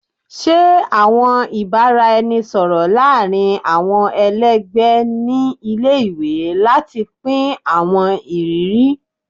Ṣe awọn ibaraẹnisọrọ laarin awọn ẹlẹgbẹ ni ile-iwe lati pin awọn iriri